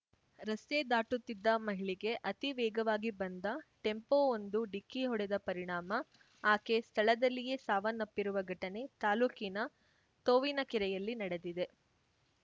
ರಸ್ತೆ ದಾಟುತ್ತಿದ್ದ ಮಹಿಳೆಗೆ ಅತಿ ವೇಗವಾಗಿ ಬಂದ ‌ಟೆಂಪೋವೊಂದು ಡಿಕ್ಕಿ ಹೊಡೆದ ಪರಿಣಾಮ ಆಕೆ ಸ್ಥಳದಲ್ಲಿಯೇ ಸಾವನ್ನಪ್ಪಿರುವ ಘಟನೆ ತಾಲ್ಲೂಕಿನ ತೋವಿನಕೆರೆಯಲ್ಲಿ ನಡೆದಿದೆ